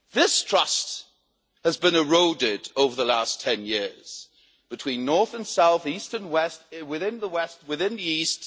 This trust has been eroded over the last ten years between north and south, east and west, within the west, within the east.